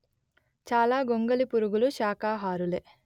చాలా గొంగళి పురుగులు షాకాహారులే